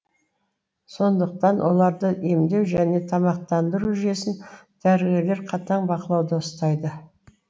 сондықтан оларды емдеу және тамақтандыру жүйесін дәрігерлер қатаң бақылауда ұстайды